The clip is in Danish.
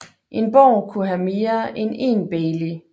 En borg kunne have mere end én bailey